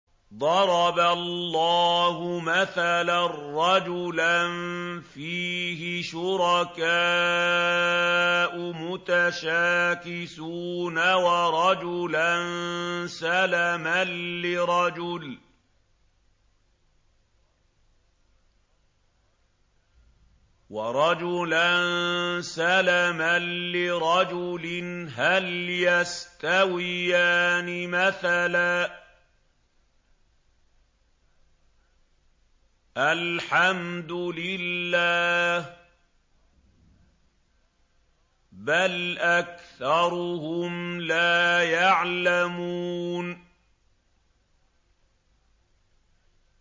ضَرَبَ اللَّهُ مَثَلًا رَّجُلًا فِيهِ شُرَكَاءُ مُتَشَاكِسُونَ وَرَجُلًا سَلَمًا لِّرَجُلٍ هَلْ يَسْتَوِيَانِ مَثَلًا ۚ الْحَمْدُ لِلَّهِ ۚ بَلْ أَكْثَرُهُمْ لَا يَعْلَمُونَ